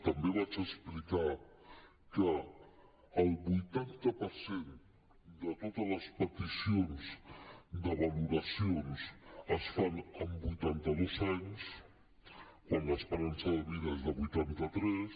també vaig explicar que el vuitanta per cent de totes les peticions de valoracions es fan amb vuitanta dos anys quan l’esperança de vida és de vuitanta tres